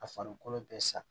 A farikolo bɛɛ sa